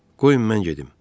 Qoyun mən gedim.